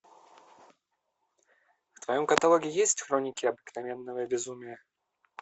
в твоем каталоге есть хроники обыкновенного безумия